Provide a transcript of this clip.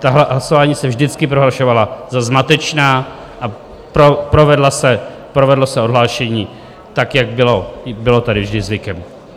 Tahle hlasování se vždycky prohlašovala za zmatečná a provedlo se odhlášení, tak jak bylo tady vždy zvykem.